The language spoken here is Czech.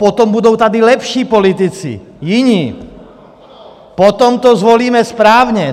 Potom tady budou lepší politici, jiní, potom to zvolíme správně.